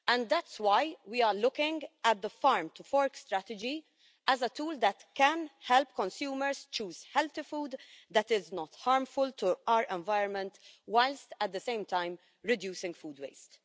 That's why we are looking at the Farm to Fork Strategy as a tool that can help consumers choose healthy food that is not harmful to our environment whilst at the same time reducing food waste.